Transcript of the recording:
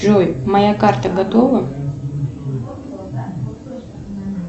джой моя карта готова